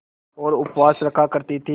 और उपवास रखा करती थीं